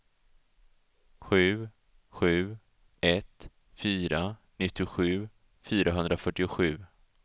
sju sju ett fyra nittiosju fyrahundrafyrtiosju